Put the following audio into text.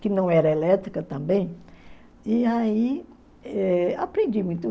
que não era elétrica também, e aí aprendi muito.